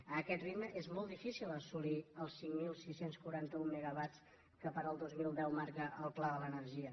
amb aquest ritme és molt difícil assolir els cinc mil sis cents i quaranta un megawatts que per al dos mil deu marca el pla de l’energia